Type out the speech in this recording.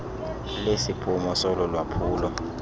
lesiphumo solo lwaphulo